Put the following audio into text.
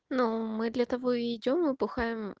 ну мы для того и идём мы бухаем